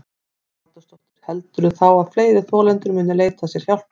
Hugrún Halldórsdóttir: Heldurðu þá að fleiri þolendur muni leita sér hjálpar?